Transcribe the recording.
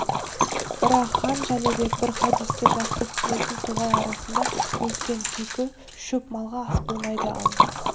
бірақ хан жәнібек бір хадисті жақсы түсінетін тоғай арасында өскен күйкі шөп малға ас болмайды ал